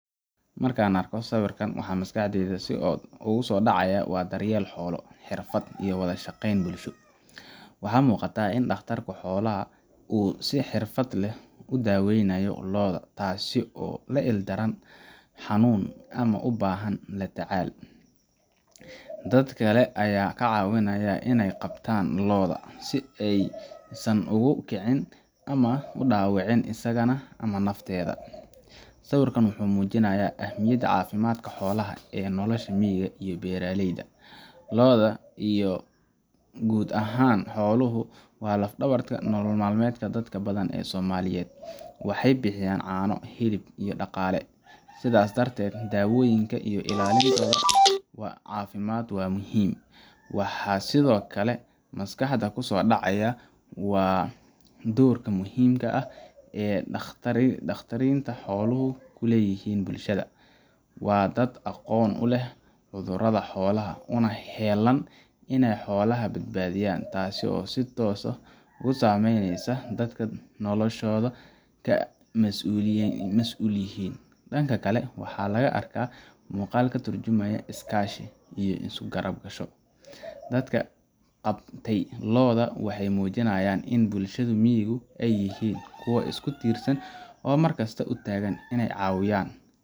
Marka aan arko sawirkan, waxa maskaxdayda ku soo dhacaya waa daryeel xoolo, xirfad, iyo wada shaqayn bulsho. Waxaa muuqata in dhakhtar xoolaad uu si xirfad leh u daweynayo lo’da, taasoo la il daran xanuun ama u baahan tallaal. Dad kale ayaa ka caawinaya in ay qabtaan lo’da, si aysan ugu kicin ama u dhaawicin isagana ama nafteeda. Sawirkan wuxuu muujinayaa ahmiyadda caafimaadka xoolaha ee nolosha miyiga iyo beeraleyda. Lo’da iyo guud ahaan xooluhu waa laf-dhabarta nolol maalmeedka dad badan oo Soomaaliyeed; waxay bixiyaan caano, hilib, iyo dhaqaale. Sidaas darteed, daawayntooda iyo ilaalintooda caafimaad waa muhiim. Waxaa sidoo kale maskaxda ku soo dhacaya doorka muhiimka ah ee dhakhtarinta xooluhu ku leeyihiin bulshada. Waa dad aqoon u leh cudurrada xoolaha, una heellan in ay xoolaha badbaadiyaan, taasoo si toos ah u saameysa nolosha dadka ay xooluhu ka mas’uulka yihiin. Dhanka kale, waxaan arkaa muuqaal ka turjumaya is-kaashi iyo isu-garabsasho. Dadka qabtay lo’da waxay muujinayaan in bulshada miyigu ay yihiin kuwo isku tiirsan oo markasta u taagan inay is caawiyaan.